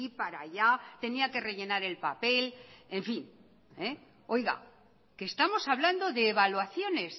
para allá tenía que rellenar el papel en fin oiga que estamos hablando de evaluaciones